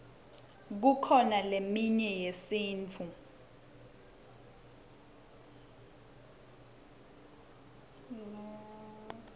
kukhona leminye yesintfu